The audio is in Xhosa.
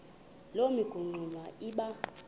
loo mingxuma iba